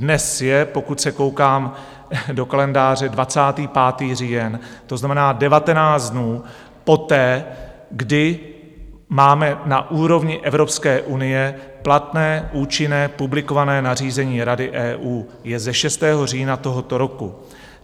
Dnes je, pokud se koukám do kalendáře, 25. října, to znamená 19 dnů poté, kdy máme na úrovni Evropské unie platné účinné publikované nařízení Rady EU, je ze 6. října tohoto roku.